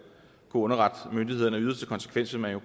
underrette myndighederne i yderste konsekvens vil man jo